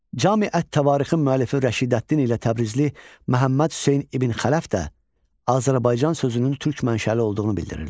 Cami ət-Təvarixin müəllifi Rəşidəddin ilə Təbrizli Məhəmməd Hüseyn İbn Xələf də Azərbaycan sözünün türk mənşəli olduğunu bildirirlər.